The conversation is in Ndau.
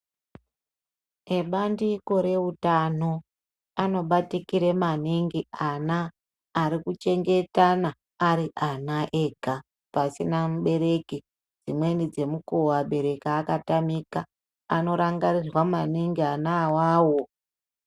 Ebandiko reutano anobatikire maningi ana arikuchengetana ari ana ega pasina mubereki. Dzimweni dzemukuvo abereki akatamika anorangarirwa maningi ana wawo.